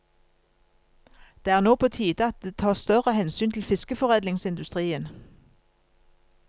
Det er nå på tide at det tas større hensyn til fiskeforedlingsindustrien.